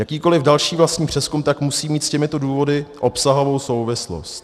Jakýkoliv další vlastní přezkum tak musí mít s těmito důvody obsahovou souvislost.